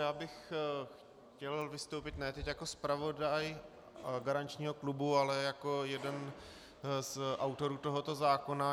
Já bych chtěl vystoupit ne teď jako zpravodaj garančního klubu, ale jako jeden z autorů tohoto zákona.